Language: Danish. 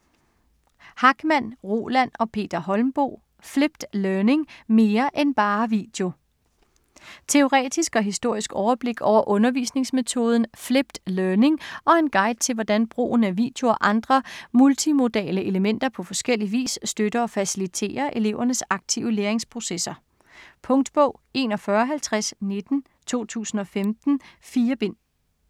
Hachmann, Roland og Peter Holmboe: Flipped learning - mere end bare video Teoretisk og historisk overblik over undervisningsmetoden Flipped Learning, og en guide til hvordan brugen af video og andre multimodale elementer på forskellig vis støtter og faciliterer elevernes aktive læringsprocesser. Punktbog 415019 2015. 4 bind.